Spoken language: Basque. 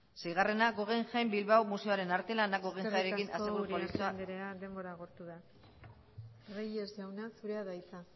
seigarrena guggenheim bilbao museoren arte lana eskerrik asko uriarte andrea denbora agortu da reyes jauna zurea da hitza